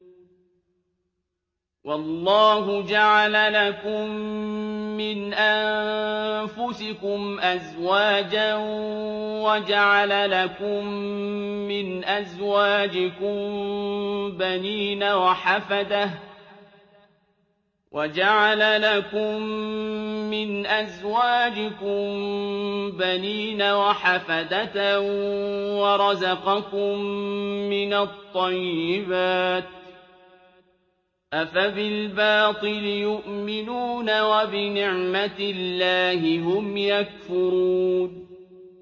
وَاللَّهُ جَعَلَ لَكُم مِّنْ أَنفُسِكُمْ أَزْوَاجًا وَجَعَلَ لَكُم مِّنْ أَزْوَاجِكُم بَنِينَ وَحَفَدَةً وَرَزَقَكُم مِّنَ الطَّيِّبَاتِ ۚ أَفَبِالْبَاطِلِ يُؤْمِنُونَ وَبِنِعْمَتِ اللَّهِ هُمْ يَكْفُرُونَ